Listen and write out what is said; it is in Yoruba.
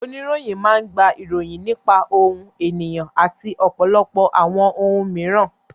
Oníròyìn máa gba ìròyìn nípa ohun, ènìyàn, àti ọ̀pọ̀lọpọ̀ àwọn ohun mìíràn.